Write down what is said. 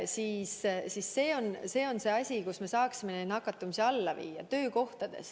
Tegelikult koht, kus me saaksime nakatumise alla viia, ongi töökohad.